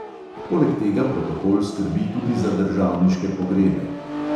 Poleg tega protokol skrbi tudi za državniške pogrebe.